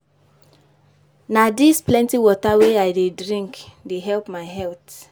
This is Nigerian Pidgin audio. Na dis plenty water wey I dey drink dey help my health.